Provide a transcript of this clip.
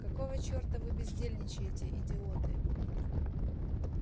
какого черта вы бездельничаете идиоты